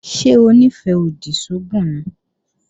Ṣé Onífẹ́-odi sógùn ni?